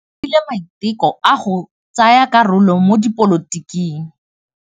O dirile maitekô a go tsaya karolo mo dipolotiking.